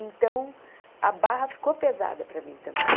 Então, a barra ficou pesada para mim também.